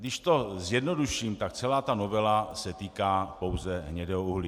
Když to zjednoduším, tak celá ta novela se týká pouze hnědého uhlí.